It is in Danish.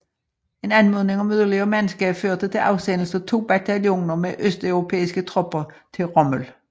En anmodning om yderligere mandskab førte til afsendelse af to bataljoner med østeuropæiske tropper til Rommel